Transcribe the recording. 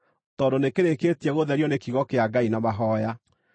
tondũ nĩkĩrĩkĩtie gũtherio nĩ kiugo kĩa Ngai na mahooya.